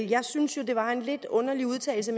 jeg synes at det var en lidt underlig udtalelse